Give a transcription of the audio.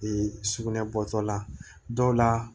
sugunɛ bɔtɔla dɔw la